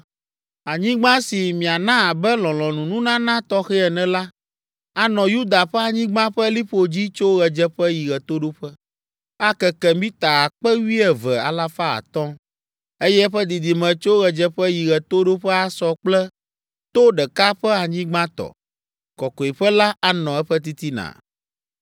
“Anyigba si miana abe lɔlɔ̃nununana tɔxɛ ene la, anɔ Yuda ƒe anyigba ƒe liƒo dzi tso ɣedzeƒe yi ɣetoɖoƒe. Akeke mita akpe wuieve alafa atɔ̃ (12,500), eye eƒe didime tso ɣedzeƒe yi ɣetoɖoƒe asɔ kple to ɖeka ƒe anyigba tɔ. Kɔkɔeƒe la anɔ eƒe titina.